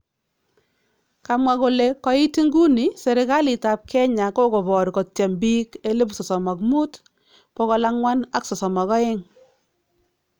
Kamwa kole koit inguni serikaliitab Kenya kokoboor kotyeem biik 35, 432